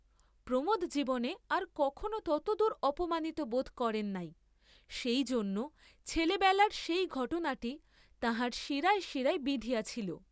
প্রমোদ জীবনে আর কখনও ততদূর অপমানিত বোধ করেন নাই; সেই জন্য ছেলেবেলার সেই ঘটনাটি তাঁহার শিরায় শিরায় বিঁধিয়া ছিল।